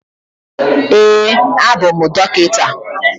Ee, abụ m dọkịta.